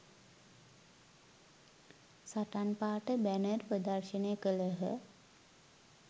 සටන් පාඨ බැනර් ප්‍රදර්ශණය කලහ